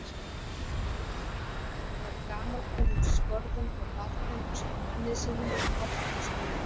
Hún var í gamalkunnum skorðum hjá barnum ásamt manni sínum og pabba hans og mömmu.